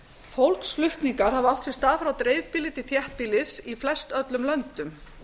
fólksflutningar hafa átt sér stað frá dreifbýli til þéttbýlis í flestöllum löndum